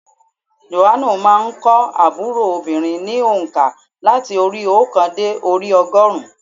Jòhánù má a n kọ́ ábúrò obìnrin ní ònká láti orí i óòkan dé orí i ogórùn ún